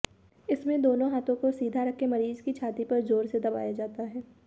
इसमें दोनों हाथों को सीधा रखकर मरीज की छाती पर जोर से दबाया जाता है